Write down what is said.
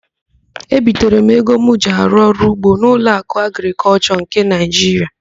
Ebitere m ego m ji arụ ọrụugbo n'Ụlọakụ Agrịkọlshọ nke Naịjiria.